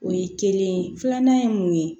O ye kelen ye filanan ye mun ye